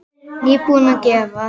Nýbúin að gefa.